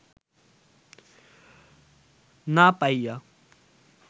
না পাইয়া